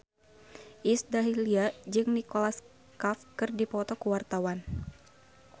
Iis Dahlia jeung Nicholas Cafe keur dipoto ku wartawan